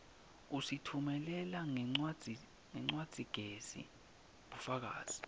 usitfumelela ngencwadzigezi bufakazi